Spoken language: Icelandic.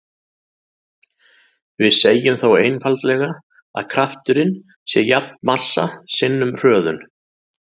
Við segjum þá einfaldlega að krafturinn sé jafn massa sinnum hröðun.